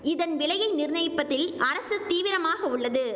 இதன் விலையை நிர்ணயிப்பதில் அரசு தீவிரமாக உள்ளது